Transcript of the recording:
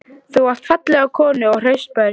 Þú átt fallega konu og hraust börn.